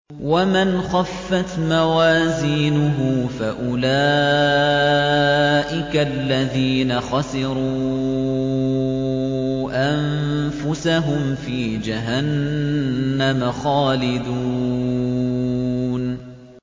وَمَنْ خَفَّتْ مَوَازِينُهُ فَأُولَٰئِكَ الَّذِينَ خَسِرُوا أَنفُسَهُمْ فِي جَهَنَّمَ خَالِدُونَ